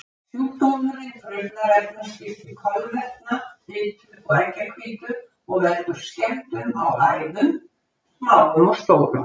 Sjúkdómurinn truflar efnaskipti kolvetna, fitu og eggjahvítu og veldur skemmdum á æðum, smáum og stórum.